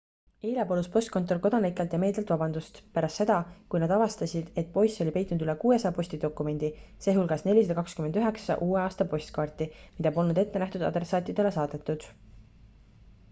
eile palus postkontor kodanikelt ja meedialt vabandust pärast seda kui nad avastasid et poiss oli peitnud üle 600 postidokumendi sh 429 uue aasta postkaarti mida polnud ettenähtud adressaatidele saadetud